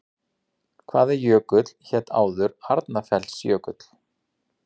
Hvaða jökull hét áður Arnarfellsjökull?